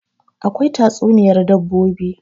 akwai tatsuniyar dabbobin